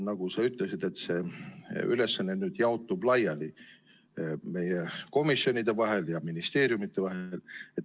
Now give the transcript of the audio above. Nagu sa ütlesid, see ülesanne jaotub laiali meie komisjonide ja ministeeriumide vahel.